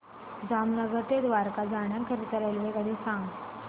जामनगर ते द्वारका जाण्याकरीता रेल्वेगाडी सांग